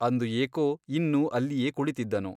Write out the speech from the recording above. ಅಂದು ಏಕೋ ಇನ್ನೂ ಅಲ್ಲಿಯೇ ಕುಳಿತಿದ್ದನು.